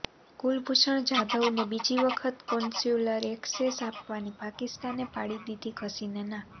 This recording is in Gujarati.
કુલભૂષણ જાધવને બીજી વખત કોન્સુલયર એક્સેસ આપવાની પાકિસ્તાને પાડી દીધી ઘસીને ના